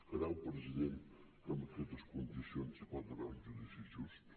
creu president que en aquestes condicions hi pot haver un judici just